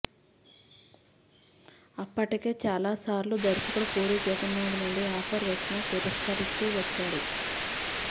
అప్పటికే చాలా సార్లు దర్శకుడు పూరి జగన్నాధ్ నుండి ఆఫర్ వచ్చినా తిరష్కరిస్తూ వచ్చాడు